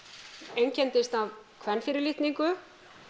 einkenndist af kvenfyrirlitningu